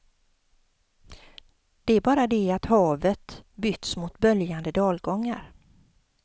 Det är bara det att havet bytts mot böljande dalgångar.